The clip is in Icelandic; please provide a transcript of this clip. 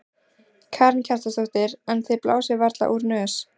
Karen Kjartansdóttir: En þið blásið varla úr nös?